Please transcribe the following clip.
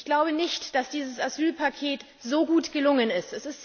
Ich glaube nicht, dass dieses Asylpaket so gut gelungen ist.